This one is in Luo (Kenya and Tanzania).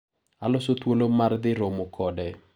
Aloso thuolo mar dhi romo kode.